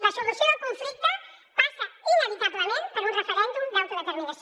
la solució del conflicte passa inevitablement per un referèndum d’autodeterminació